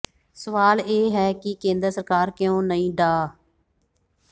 ਸਵਾਲ ਇਹ ਹੈ ਕਿ ਕੇਂਦਰ ਸਰਕਾਰ ਕਿਉਂ ਨਹੀਂ ਡਾ